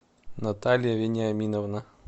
наталья вениаминовна